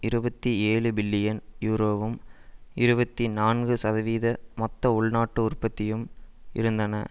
இருபத்தி ஏழு பில்லியன் யூரோவும் இருபத்தி நான்கு சதவீத மொத்த உள் நாட்டு உற்பத்தியும் இருந்தன